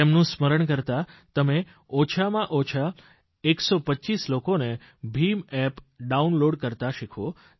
તેમનું સ્મરણ કરતા તમે ઓછામાંઓછા 125 લોકોને ભીમ એપ ડાઉનલોડ કરતા શીખવો